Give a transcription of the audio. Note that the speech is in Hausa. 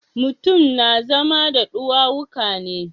Mutum na zama da ɗuwawuka ne.